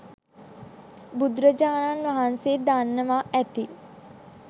බුදුරජාණන් වහන්සේ දන්නවා ඇති.